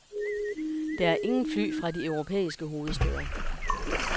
Der er ingen fly fra de europæiske hovedstæder.